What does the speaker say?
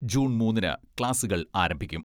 June മൂന്നിന് ക്ലാസുകൾ ആരംഭിക്കും.